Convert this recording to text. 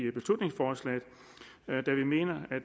i beslutningsforslaget